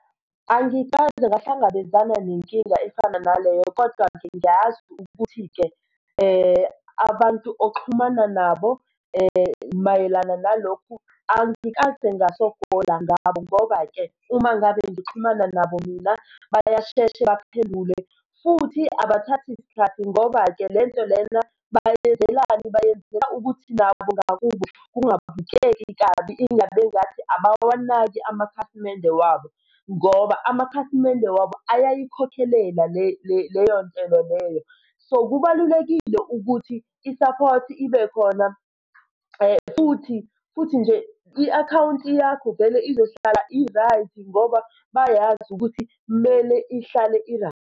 Angikaze ngahlangabezana nenkinga efana naleyo kodwa-ke ngiyazi ukuthi-ke abantu oxhumana nabo mayelana nalokhu angikaze ngasokola ngabo, ngoba-ke uma ngabe ngixhumana nabo mina bayashesha baphendule futhi abathathi sikhathi. Ngoba-ke lento lena bayenzelani? Bayenzela ukuthi nabo ngakubo kungabukeki kabi ingabi engathi abawanaki amakhasimende wabo, ngoba amakhasimende wabo uyayikhokhelela leyo ndlela leyo. So, kubalulekile ukuthi i-support ibe khona futhi, futhi nje i-akhawunti yakho vele izohlala i-right ngoba bayazi ukuthi mele ihlale i-right.